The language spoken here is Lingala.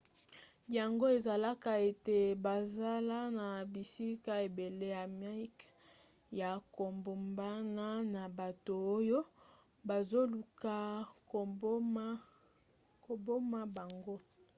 yango esalaka ete bazala na bisika ebele ya mike ya kobombana na bato oyo bazoluka koboma bango